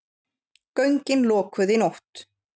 Göngin lokuð í nótt